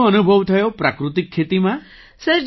શું અનુભવ થયો પ્રાકૃતિક ખેતીમાં